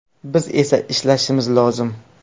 Biz esa ishlashimiz lozim.